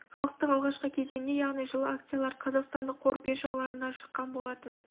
халықтық алғашқы кезеңінде яғни жылы акциялары қазақстандық қор биржаларына шыққан болатын